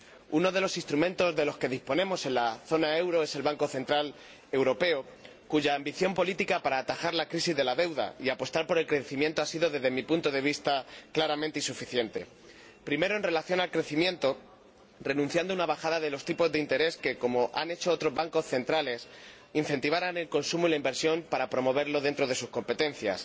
Uno de los instrumentos de los que disponemos en la zona del euro es el Banco Central Europeo, cuya ambición política para atajar la crisis de la deuda y apostar por el crecimiento ha sido, desde mi punto de vista, claramente insuficiente primero, en relación con el crecimiento, renunciando a una bajada de los tipos de interés que sí han hecho otros bancos centrales que incentivara el consumo y la inversión para promoverlos dentro de sus competencias